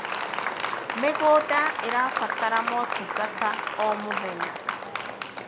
mĩgũnda irabatara motungata o mũthenya